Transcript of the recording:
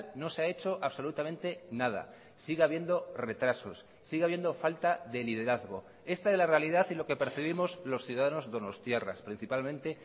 no se ha hecho absolutamente nada sigue habiendo retrasos sigue habiendo falta de liderazgo esta es la realidad y lo que percibimos los ciudadanos donostiarras principalmente